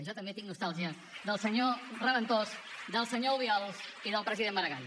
jo també tinc nostàlgia del senyor reventós del senyor obiols i del president maragall